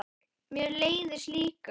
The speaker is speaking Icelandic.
Mér leiðist líka.